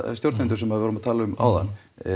stjórnendur sem við vorum að tala um áðan